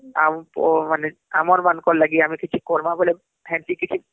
ଆଉହମ୍ ଆମର ମାନକେ ଲାଗି ଆମେ କିଛି କରମା ବୋଲେ ହେଂତି କିଛି